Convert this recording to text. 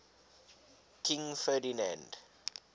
king ferdinand